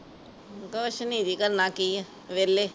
ਕੁਝ ਨਹੀ ਜੀ। ਕਰਨਾ ਕੀ ਏ? ਵਿਹਲੇ।